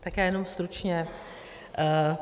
Tak já jenom stručně.